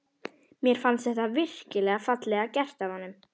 Mér fannst þetta virkilega fallega gert af honum.